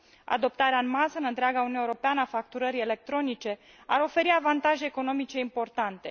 Adoptarea în masă, în întreaga Uniune Europeană, a facturării electronice ar oferi avantaje economice importante.